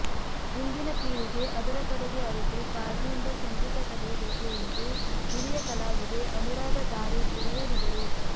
ಇಂದಿನ ಪೀಳಿಗೆ ಅದರ ಕಡೆಗೆ ಅರಿತು ತಾಳ್ಮೆಯಿಂದ ಸಂಗೀತ ಕಲೆಯಬೇಕು ಎಂದು ಹಿರಿಯ ಕಲಾವಿದೆ ಅನುರಾಧಾ ಧಾರೇಶ್ವರ ಹೇಳಿದರು